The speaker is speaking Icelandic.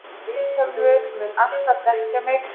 Vilhjálmur mun alltaf þekkja mig.